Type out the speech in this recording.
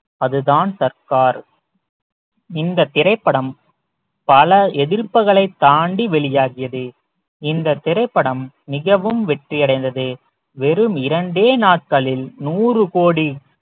அதுதான் சர்கார் இந்தத் திரைப்படம் பல எதிர்ப்புகளைத் தாண்டி வெளியாகியது இந்தத் திரைப்படம் மிகவும் வெற்றி அடைந்தது வெறும் இரண்டே நாட்களில் நூறு கோடி